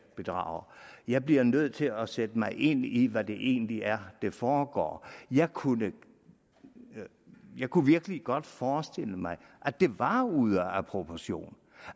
bedragere jeg bliver nødt til at sætte mig ind i hvad det egentlig er der foregår jeg kunne jeg kunne virkelig godt forestille mig at det var ude af proportion